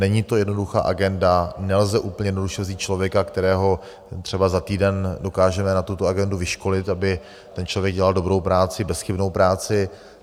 Není to jednoduchá agenda, nelze úplně jednoduše vzít člověka, kterého třeba za týden dokážeme na tuto agendu vyškolit, aby ten člověk dělal dobrou práci, bezchybnou práci.